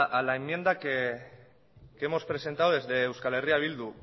a la enmienda que hemos presentado desde eh bildu